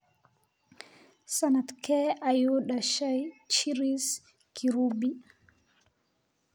Sanadkee ayuu dhashay Chris Kirubi?